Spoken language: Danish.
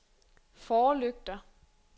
forlygter